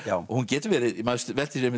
hún getur verið maður veltir því